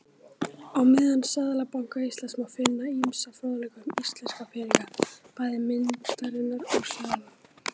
Á heimasíðu Seðlabanka Íslands má finna ýmsan fróðleik um íslensku peningana, bæði myntirnar og seðla.